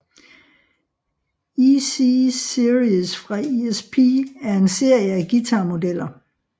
EC Series fra ESP er en serie af guitarmodeller